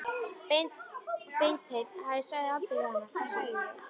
Beinteinn afi sagði aldrei við hana: Hvað sagði ég?